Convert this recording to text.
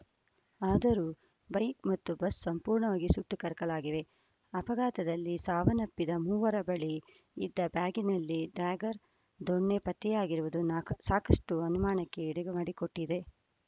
ಆದರೂ ಬೈಕ್‌ ಮತ್ತು ಬಸ್‌ ಸಂಪೂರ್ಣವಾಗಿ ಸುಟ್ಟು ಕರಕಲಾಗಿವೆ ಅಪಘಾತದಲ್ಲಿ ಸಾವನ್ನಪ್ಪಿದ ಮೂವರ ಬಳಿ ಇದ್ದ ಬ್ಯಾಗ್‌ನಲ್ಲಿ ಡ್ಯಾಗರ್‌ ದೊಣ್ಣೆ ಪತ್ತೆಯಾಗಿರುವುದು ನಾ ಸಾಕಷ್ಟುಅನುಮಾನಕ್ಕೆ ಎಡೆಮಾಡಿಕೊಟ್ಟಿದೆ